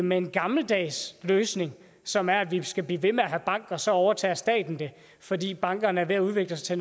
med en gammeldags løsning som er at vi skal blive ved med at have en bank og så overtager staten det fordi bankerne er ved at udvikle sig